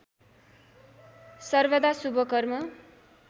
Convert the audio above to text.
सर्वदा शुभ कर्म